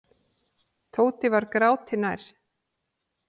Tóti var gráti nær.